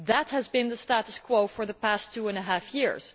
That has been the status quo for the past two and a half years.